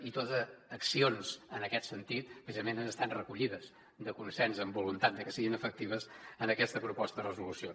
i totes les accions en aquest sentit precisament han estat recollides de consens amb voluntat de que siguin efectives en aquesta proposta de resolució